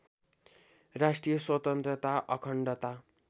राष्ट्रिय स्वतन्त्रता अखण्डता